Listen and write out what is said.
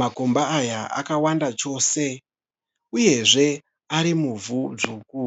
Makomba aya akawanda chose uyezve ari muvhu dzvuku.